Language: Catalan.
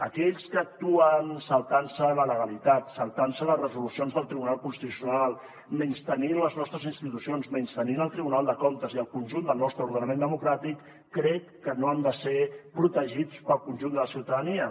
aquells que actuen saltant se la legalitat saltant se les resolucions del tribunal constitucional menystenint les nostres institucions menystenint el tribunal de comptes i el conjunt del nostre ordenament democràtic crec que no han de ser protegits pel conjunt de la ciutadania